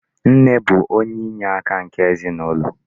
Nne bụ onye inyeaka nke ezinụlọ.